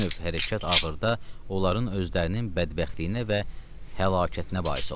bu növ hərəkət axırda onların özlərinin bədbəxtliyinə və həlakətinə bais olur.